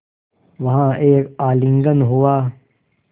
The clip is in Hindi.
वहाँ एक आलिंगन हुआ